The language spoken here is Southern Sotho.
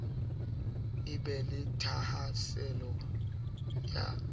a be le thahasello ya